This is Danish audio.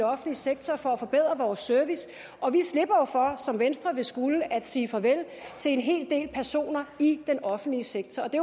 offentlige sektor for at forbedre vores service og vi slipper jo for som venstre vil skulle nemlig at sige farvel til en hel del personer i den offentlige sektor det